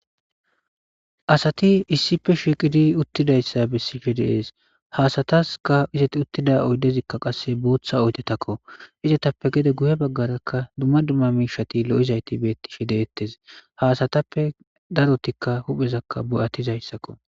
Asati issipe shiqidi utidaysa besishe de'es ha asataska izeti tida oydezikka qase botha oydetakko izetappe gede guye bagaraka duma duma mishati lo'izayti betishe de'etes ha asatappe darotika huphezankka bo'atizaysako.